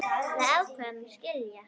Við ákváðum að skilja.